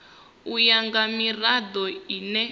u ya nga mirado ine